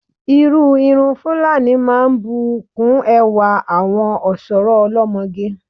Irú irun Fúlàní máa ń bù kún ẹwà àwọn ọ̀ṣọ́rọ́ olọ́mọge.